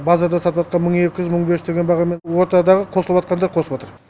базарда сатыватқан мың екі жүз мың бес жүз деген бағамен ортадағы қосыватқандар қосыватыр